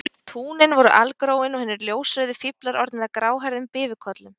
Túnin voru algróin og hinir ljósrauðu fíflar orðnir að gráhærðum bifukollum